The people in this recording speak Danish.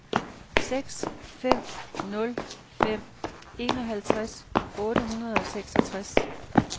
seks fem nul fem enoghalvtreds otte hundrede og seksogtres